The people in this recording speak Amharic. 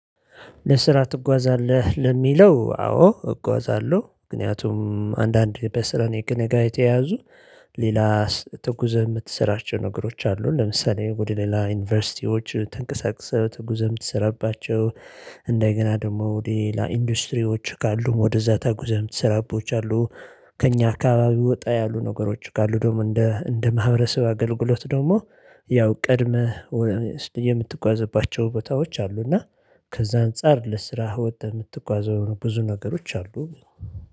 ለስራ ትጓዛለህ ለሚለው? አዎ እጓዛለሁ ምክንያቱም አንዳንድ በስራ ከእኔ ጋር የተያዙ ሌላ ተጉዘህ የምትሰራባቸው ነገሮች አሉ ለምሳሌ ወደ ሌላ ዩኒቨርሲቲዎች ተንቀሳቅሰህ ተጉዘህ የምትሰራባቸው። እንደገና ደግሞ ወደ ሌላ ኢንዱስትሪዎች ካሉም ወደዛ ተጉዘህ የምትሰራባቸው አሉ። ከእኛ አካባቢ ወጣ ያሉ ነገሮች ካሉ ደግሞ እንደ እንደ ማህበረሰብ አገልግሎት ደግሞ። ያው ቀድመህ የምትጓዝባቸው ቦታዎች አሉ። እና ከዛ አንፃር ለስራህ ወጥተህ የምትጓዘው ብዙ ነገሮች አሉ።